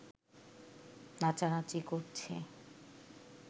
নাচানাচি করছে